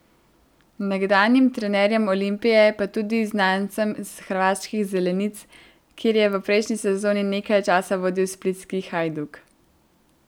Nekdanjim trenerjem Olimpije pa tudi znancem s hrvaških zelenic, kjer je v prejšnji sezoni nekaj časa vodil splitski Hajduk.